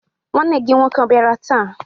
Nwanne gị nwoke abịara taa?